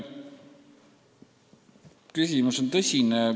Küsimus on tõsine.